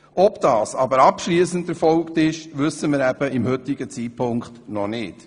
Ob dies jedoch abschliessend erfolgt ist, wissen wir zum heutigen Zeitpunkt noch nicht.